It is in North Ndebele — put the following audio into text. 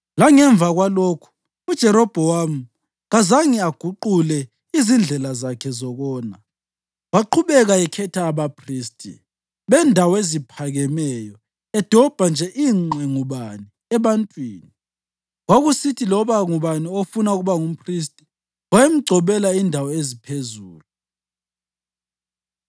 Langemva kwalokhu, uJerobhowamu kazange aguqule izindlela zakhe zokona, waqhubeka ekhetha abaphristi bendawo eziphakemeyo edobha nje ingqe ngubani ebantwini. Kwakusithi loba ngubani ofuna ukuba ngumphristi wayemgcobela indawo eziphezulu.